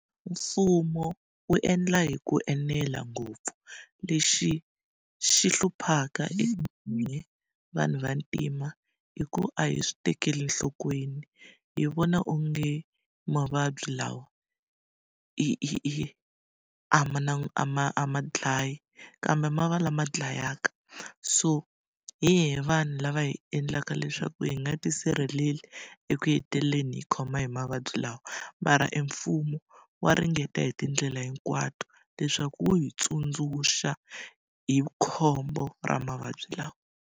Mfumo wu endla hi ku enela ngopfu, lexi xi hluphaka evanhu vantima i ku a hi swi tekeli enhlokweni. Hi vona onge mavabyi lawa hi hi hi hi a ma na ma a ma dlayi, kambe ma va lama dlayaka. So hi hina vanhu lava hi endlaka leswaku hi nga tisirheleli eku heteleleni hi khoma hi mavabyi lawa. Mara emfumo wa ringeta hi tindlela hinkwato leswaku wu hi tsundzuxa hi khombo ra mavabyi lawa.